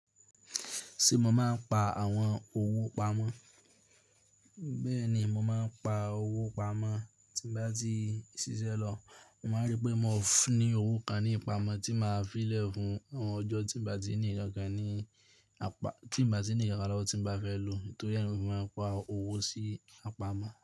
Ṣé mo máa ń pa àwọn owó pamọ́? Bẹ́ẹ̀ ni, mo máa ń pa owó pamọ́ tí n bá ti ṣiṣẹ́ lọ. Mo máa rí pé mo ní owó kan ní ipamó tí màá fi lẹ̀ fún àwọn ọjọ́ tí n bá ti ní nkankan ní apá, tí bá ti ní nkankan lówó tí mo bá fẹ́ lò. Nítorí ẹ́ ni mo fi máa ń pa owó sí apámọ́.